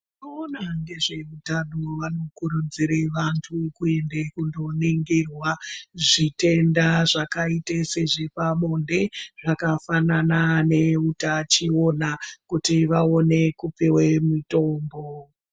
Vano ona ngezve utano vano kurudzire vantu ku ende kuno ningirwa zvitenda zvaka ite sezve pabonde zvaka fanana ne utachiona kuti vaone kupiwe mitombo.